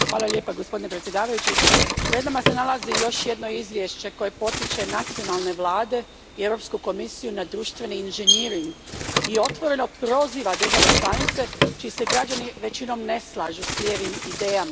Poštovani predsjedniče, pred nama se nalazi još jedno izvješće koje potiče nacionalne vlade i Europsku komisiju na društveni inženjering i otvoreno proziva države članice čiji se građani većinom ne slažu s lijevim idejama.